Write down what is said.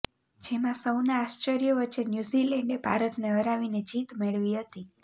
જેમાં સૌના આશ્ચર્ય વચ્ચે ન્યુઝીલેન્ડે ભારતને હરાવીને જીત મેળવી હતી